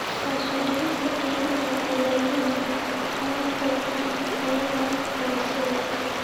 Hoos u dhigista qiimaha dalagyada sababtoo ah tayada hooseeya.